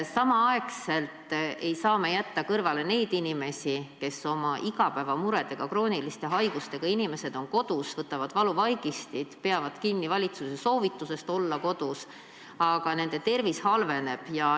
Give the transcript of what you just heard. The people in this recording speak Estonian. Samal ajal ei saa me jätta kõrvale neid inimesi, kes on oma igapäevamuredega, st on krooniliste haigustega kodus, võtavad valuvaigisteid ja peavad kinni valitsuse soovitusest olla kodus, aga nende tervis halveneb.